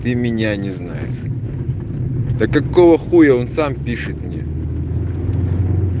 ты меня не знаешь да какого хуя он сам пишет мне